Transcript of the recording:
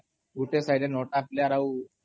ଗୁଟେ sideରେ ନ'ଟା ପ୍ଲେୟାର୍ ଆଉ